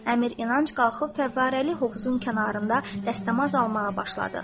Əmir İnanc qalxıb fəvvarəli hovuzun kənarında dəstəmaz almağa başladı.